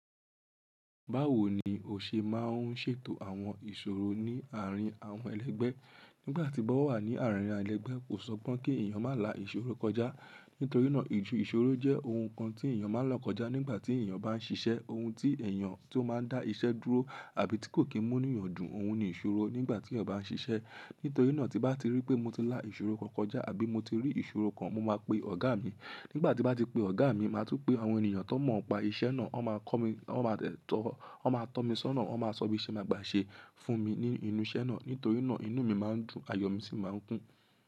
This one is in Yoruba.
Báwo ni o ṣe máa ń ṣètò àwọn ìṣòro ní àárín àwọn ẹlẹgbẹ́? Nígbà tí mo wà ní àárín ẹlegbẹ́ kò sọ gbon pé kí ẹ̀yàn má là ìṣòro kọjá. Nítorí náà ijù ìṣòro jẹ́ ohun kan tí èèyàn máa n la kọjá nígbà tí èèyàn bá ń ṣiṣẹ́. Ohun tí èèyàn tó máa dá iṣẹ́ dúró àbí tí kò kí n mú ní eniyan dun, òun ni ìṣòro nígbà tí eyan ba ń ṣiṣẹ́. Nítorí náà tí n bá ti rí pé mo ti lá ìṣòro kan kọjá àbí mo ti rí ìṣòro kan, mo máa pe ọ̀gá mi. Nígbà tí n bá ti pe ọ̀gá mi, màá tún pe àwọn ènìyàn tan mọ̀ npá iṣẹ́ náà, wọ́n máa kọ́ mi, wọ́n máa de tọ́, won ma to mi sọ́nà, wọ́n máa sọ bí ṣe màá gbà ṣe fún mi ní inú iṣẹ́ náà. Nítorí náà inú mi máa ń dùn, ayọ̀ mi sì máa ń kún.